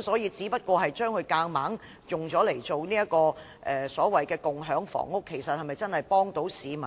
所以，若強行將單位變為所謂的共享房屋，其實是否真的能協助市民